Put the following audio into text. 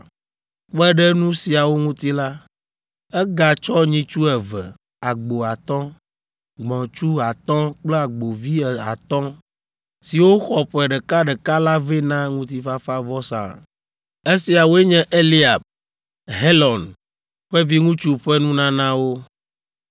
Kpe ɖe nu siawo ŋuti la, egatsɔ nyitsu eve, agbo atɔ̃, gbɔ̃tsu atɔ̃ kple agbovi atɔ̃ siwo xɔ ƒe ɖekaɖeka la vɛ na ŋutifafavɔsa. Esiawoe nye Eliab, Helon ƒe viŋutsu ƒe nunanawo.